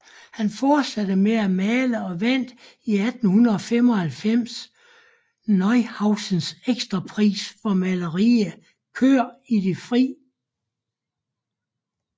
Han fortsatte med at male og vandt i 1895 Neuhausens Ekstrapris for maleriet Køer i det fri